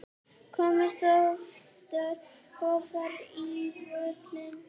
Komist ofar á völlinn?